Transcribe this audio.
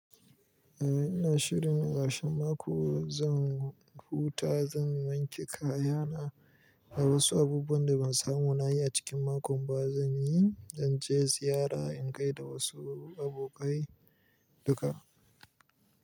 Eh ina shirin a karshen mako zan huta, zan wanke kaya na, da wasu abubuwan da ban samu na yi a cikin makon ba zan yi, zan je ziyara in kai da wasu abokai duka.